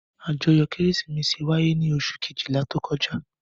Àjọyọ̀ Kérésìmesì wáyé ní oṣù kejìlá tó kọjá.